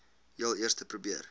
heel eerste probeer